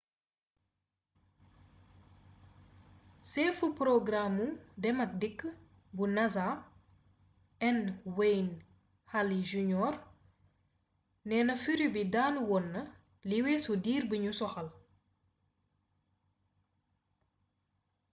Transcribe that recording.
seefu porogaraamu dem ak dikk bu nasa n wayne hale jr neena furit bi daanu woon na li weesu diir biñu soxal